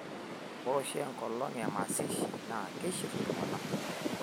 ore oshi enkolong ee emashishi naa kiishirr iltung'anak